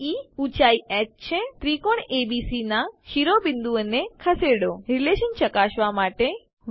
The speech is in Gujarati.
બે ઊંચાઈ હ છે ત્રિકોણ એબીસી નાં શિરોબિંદુઓને ખસેડો રીલેશન ચકાસવા માટે